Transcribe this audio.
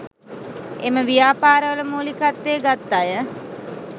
එම ව්‍යාපාර වල මූලිකත්වය ගත් අය